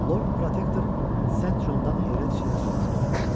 Lord Protektor sent Jon'dan heyrət içində soruşdu: